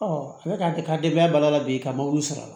a bɛ ka ka denbaya balo a la bi ka mɔbili sɔrɔ